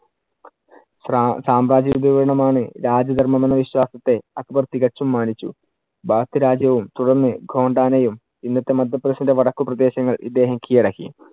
സ്രാ~ സാമ്രാജ്യ ആണ് രാജ്യ ധർമ്മം എന്ന വിശ്വാസത്തെ അക്ബർ തികച്ചും മാനിച്ചു. രാജ്യവും തുടർന്നു ഖോണ്ടനായും ഇന്നത്തെ മധ്യ പ്രദേശിന്‍റെ വടക്കു പ്രദേശങ്ങൾ ഇദ്ദേഹം കിഴടക്കി.